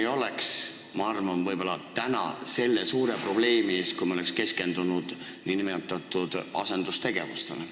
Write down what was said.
Ma arvan, et siis me ei oleks võib-olla täna selle suure probleemi ees, me oleks keskendunud nn asendustegevustele.